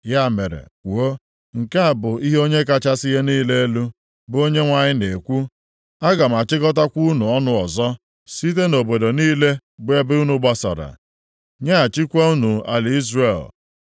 “Ya mere kwuo, ‘Nke a bụ ihe Onye kachasị ihe niile elu, bụ Onyenwe anyị na-ekwu: Aga m achịkọtakwa unu ọnụ ọzọ, site nʼobodo niile bụ ebe unu gbasara, nyeghachikwa unu ala Izrel.’